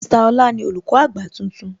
Mr Ọlá ni Olùkọ́ àgbà tuntun